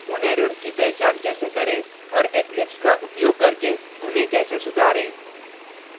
उन errors की पहचान कैसे करें और eclipse का उपयोग करके उन्हें कैसे सुधारें